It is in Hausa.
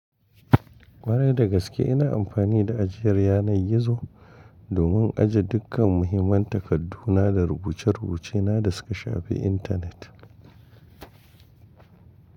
Kwarai da gaske ina amfani da ajiyar yanar gizo domin ajiye dukkan muhimman takadduna da rubuce-rubucena da suka shafi intanet.